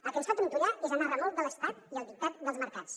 el que ens fa trontollar és anar a remolc de l’estat i al dictat dels mercats